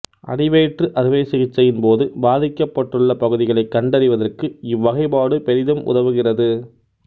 அடிவயிற்று அறுவைச் சிகிச்சையின் போது பாதிக்கப்பட்டுள்ள பகுதிகளை கண்டறிவதற்கு இவ்வகைபாடு பெரிதும் உதவுகிறது